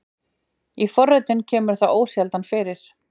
Í fornritum kemur það ósjaldan fyrir.